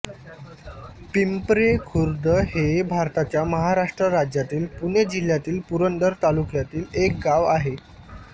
पिंपरे खुर्द हे भारताच्या महाराष्ट्र राज्यातील पुणे जिल्ह्यातील पुरंदर तालुक्यातील एक गाव आहे